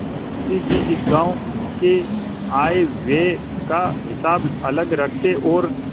मुंशी जी इस गॉँव के आयव्यय का हिसाब अलग रखते और